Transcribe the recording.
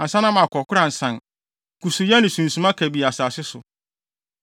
ansa na makɔ koransan kusuuyɛ ne sunsuma kabii asase so,